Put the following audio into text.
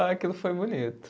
Aquilo foi bonito.